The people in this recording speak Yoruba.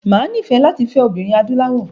Mà á nífẹ̀ẹ́ láti fẹ́ obìnrin adúláwọ̀.